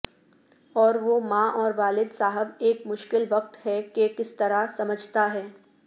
اور وہ ماں اور والد صاحب ایک مشکل وقت ہے کہ کس طرح سمجھتا ہے